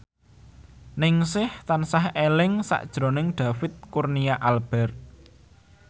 Ningsih tansah eling sakjroning David Kurnia Albert